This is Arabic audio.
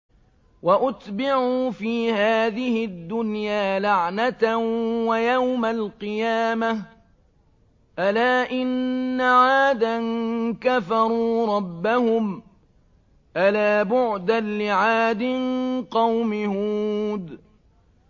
وَأُتْبِعُوا فِي هَٰذِهِ الدُّنْيَا لَعْنَةً وَيَوْمَ الْقِيَامَةِ ۗ أَلَا إِنَّ عَادًا كَفَرُوا رَبَّهُمْ ۗ أَلَا بُعْدًا لِّعَادٍ قَوْمِ هُودٍ